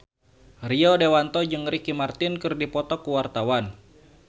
Rio Dewanto jeung Ricky Martin keur dipoto ku wartawan